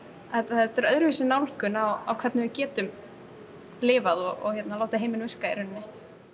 þetta er öðruvísi nálgun á hvernig við getum lifað og látið heiminn virka í rauninni